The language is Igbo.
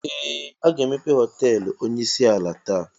Ee! Aga emepe họteelụ onyeisi ala taa.